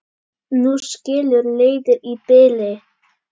Nú skilur leiðir í bili.